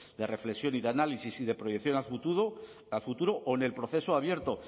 de reflexión y de análisis y de proyección a futuro o en el proceso abierto